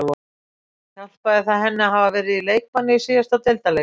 Hjálpaði það henni að hafa verið í leikbanni í síðasta deildarleik?